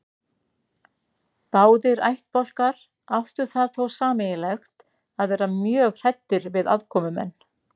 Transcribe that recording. Báðir ættbálkar áttu það þó sameiginlegt að vera mjög hræddir við aðkomumenn.